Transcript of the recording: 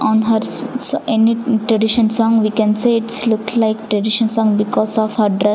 on hers s any tradition song we can say its look like tradition song because of her dress .